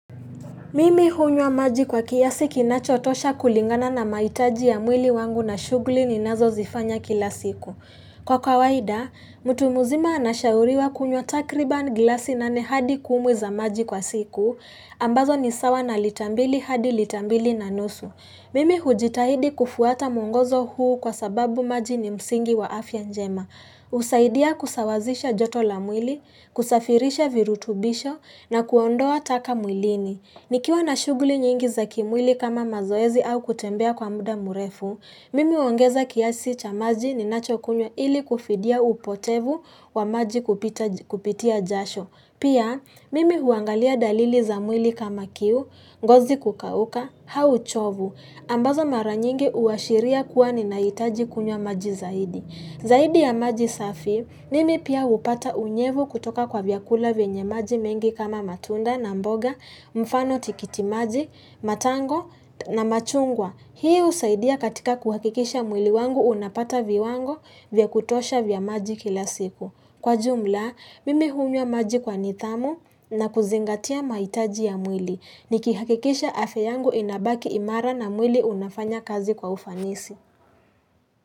Mimi hunywa maji kwa kiasi kinachotosha kulingana na mahitaji ya mwili wangu na shugli ni nazo zifanya kila siku. Kwa kawaida, mtu mzima anashauriwa kunywa takriba glasi nane hadi kumi za maji kwa siku, ambazo ni sawa na litambili hadi litambili na nusu. Mimi hujitahidi kufuata mungozo huu kwa sababu maji ni msingi wa afya njema. Husaidia kusawazisha joto la mwili, kusafirisha virutubisho na kuondoa taka mwilini. Ikiwa na shughuli nyingi za kimwili kama mazoezi au kutembea kwa muda murefu, mimi uongeza kiasi cha maji ninacho kunywa ili kufidia upotevu wa maji kupitia jasho. Pia, mimi huangalia dalili za mwili kama kiu, ngozi kukauka, au huchovu, ambazo maranyingi uashiria kuwa ninahitaji kunywa maji zaidi. Zaidi ya maji safi, mimi pia upata unyevu kutoka kwa vyakula vyenye maji mengi kama matunda na mboga, mfano tikiti maji, matango na machungwa. Hii usaidia katika kuhakikisha mwili wangu unapata viwango vya kutosha vya maji kila siku. Kwa jumla, mimi hunywa maji kwa nidhamu na kuzingatia mahitaji ya mwili. Niki hakikisha afya yangu inabaki imara na mwili unafanya kazi kwa ufanisi.